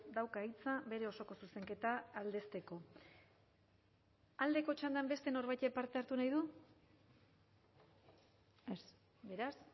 dauka hitza bere osoko zuzenketa aldezteko aldeko txandan beste norbaitek parte hartu nahi du ez beraz